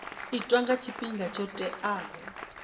itwa nga tshifhinga tsho teaho